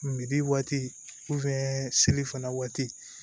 waati seli fana waati